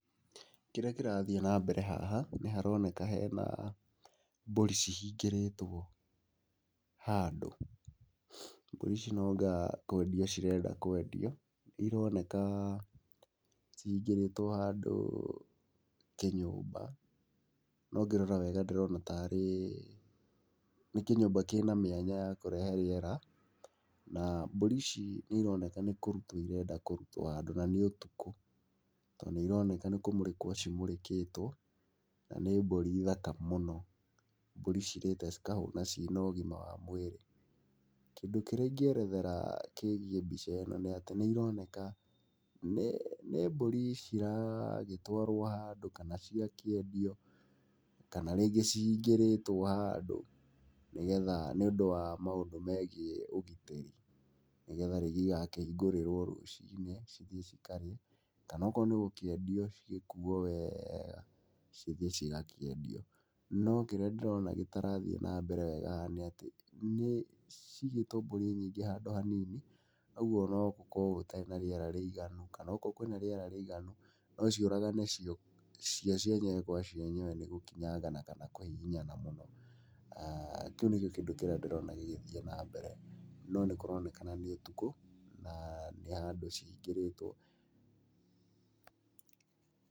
Kĩrĩa kĩrathiĩ na mbere haha, nĩharoneka hena mbũri cihingĩrĩtwo handũ. Mbũri ici no anga kwendio cirenda kwendio. Nĩironekaa cihingĩrĩtwo handũ kĩnyũmba. No ngĩrora wega ndĩrona tarĩ nĩ kĩnyũmba kĩna mĩanya ya kũrehe rĩera, na mbũri ici nĩironeka nĩ kũrutwo irenda kũrutwo handũ na nĩ ũtukũ. Tondũ nĩironeka nĩ kũmũrĩkwo cimũrĩkĩtwo, na nĩ mbũri thaka mũno. Mbũri cirĩte cikahũna ciĩna ũgima wa mwĩrĩ. Kĩndũ kĩrĩa ingĩerethera kĩgiĩ mbica ĩno nĩatĩ nĩironeka nĩ nĩ mbũri ciragĩtwarwo handũ kana cigakĩendio, kana rĩngĩ cihingĩrĩtwo handũ nĩgetha nĩũndũ wa maũndũ megiĩ ũgitĩri, nĩgetha rĩngĩ igakĩhingũrĩrwo rũcinĩ cithiĩ cikarĩe, kana okorwo nĩ gũkĩendio cigĩkuo weega cithiĩ cigakĩendio. No kĩrĩa ndĩrona gĩtarathiĩ na mbere wega haha nĩatĩ nĩcigĩtwo mbũri nyingĩ handũ hanini, ũguo no gũkorwo gũtarĩ na rĩera rĩiganu kana okorwo kwĩna rĩera rĩiganu no ciũragane cio cio cienyewe kwa cienyewe nĩgũkinyangana kana kũhihinyana mũno. Kĩu nĩkĩo kĩndũ kĩrĩa ndĩrona gĩgĩthiĩ na mbere, no nĩkũronekana nĩ ũtukũ na nĩ handũ cihingĩrĩtwo. Pause